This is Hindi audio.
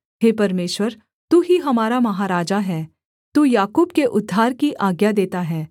हे परमेश्वर तू ही हमारा महाराजा है तू याकूब के उद्धार की आज्ञा देता है